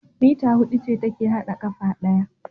Meter hudu ce take hada kafa daya